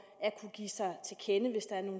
at kunne give sig